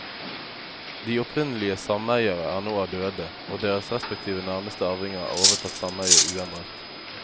De opprinnelige sameiere er nå døde, og deres respektive nærmeste arvinger har overtatt sameiet uendret.